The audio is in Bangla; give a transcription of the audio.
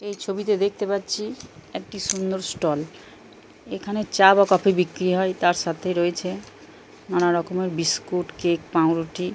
এই ছবিতে দেখতে পাচ্ছি একটি সুন্দর ষ্টল । এখানে চা বা কফি বিক্রি হয়। তার সাথে রয়েছে নানারকমের বিস্কুট কেক পাউরুটি।